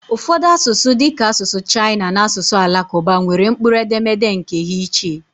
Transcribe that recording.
Ụfọdụ asụsụ dịka asụsụ Chaịna na asụsụ Alakụba nwere mkpụrụ edemede nkè ha iche